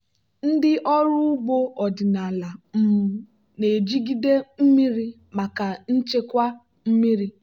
ndị ọrụ ugbo ọdịnala um na-ejigide mmiri maka nchekwa mmiri.